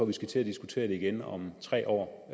vi skal til at diskutere det igen om tre år